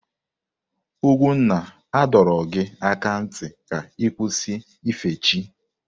Ugwunna a dọrọ gị aka na ntị ka ị kwụsị ife chi!